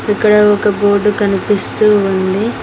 ఇక్కడ ఒక బోర్డు కనిపిస్తూ ఉంది.